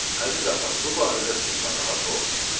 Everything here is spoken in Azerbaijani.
Əziz atam, bu barədə siz narahat olmayın.